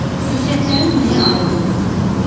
Xüsusiyyətlərin nəyə aid olduğunu tapın.